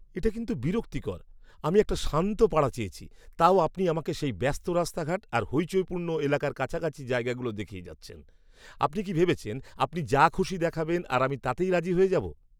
এটা কিন্তু বিরক্তিকর! আমি একটা শান্ত পাড়া চেয়েছি, তাও আপনি আমাকে সেই ব্যস্ত রাস্তাঘাট আর হইচইপূর্ণ এলাকার কাছাকাছি জায়গাগুলো দেখিয়ে যাচ্ছেন। আপনি কি ভেবেছেন আপনি যা খুশি দেখাবেন আর আমি তাতেই রাজি হয়ে যাব?